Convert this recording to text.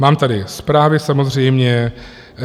Mám tady zprávy samozřejmě.